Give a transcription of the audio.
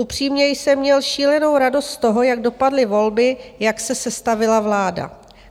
Upřímně jsem měl šílenou radost z toho, jak dopadly volby, jak se sestavila vláda.